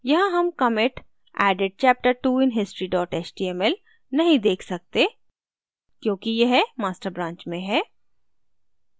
यहाँ हम commit added chapter two in history html नहीं देख सकते क्योंकि यह master branch में है